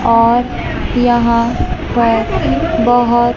और यहां पर बहोत--